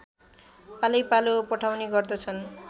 पालैपालो पठाउने गर्दछन्